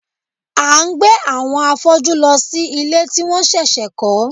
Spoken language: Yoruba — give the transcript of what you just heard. A ń gbé àwọn afọ́jú lọ sí ilé tí wọ́n ṣẹ̀ṣẹ̀ kọ́